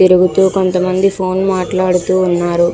తిరుగుతూ కొంతమంది ఫోన్ మాట్లాడుతూ ఉన్నారు.